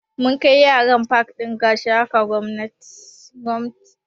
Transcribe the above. Mun kai yara pak ɗin Gashaka Gumti